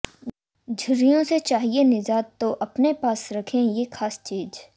झुर्रियों से चाहिए निजात तो अपने पास रखें ये खास चीज